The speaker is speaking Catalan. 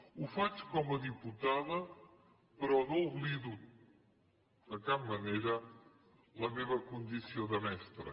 ho faig com a diputada però no oblido de cap manera la meva condició de mestra